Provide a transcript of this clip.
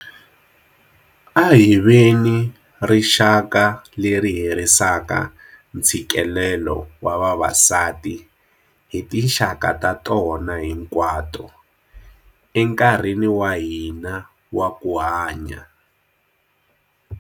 A hi veni rixaka leri herisaka ntshikelelo wa vavasati hi tinxaka ta tona hinkwato, enkarhini wa hina wa ku hanya.